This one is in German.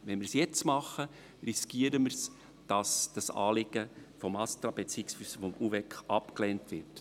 Wenn wir es jetzt machen, riskieren wir, dass das Anliegen vom ASTRA beziehungsweise vom UVEK abgelehnt wird.